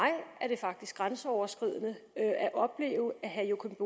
er det faktisk grænseoverskridende at opleve at herre joachim